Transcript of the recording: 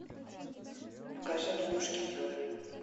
покажи мне мушкетера